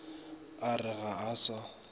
a re ga a sa